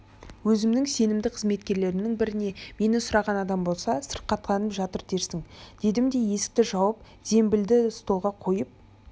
өзімнің сенімді қызметкерлерімнің біріне мені сұраған адам болса сырқаттанып жатыр дерсің дедім де есікті жауып зембілді столға қойып